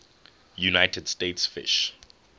united states fish